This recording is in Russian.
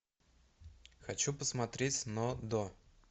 хочу посмотреть но до